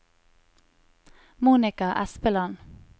Monica Espeland